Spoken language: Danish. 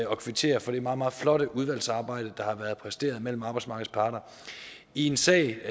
kvittere for det meget meget flotte udvalgsarbejde der har været præsteret mellem arbejdsmarkedets parter i en sag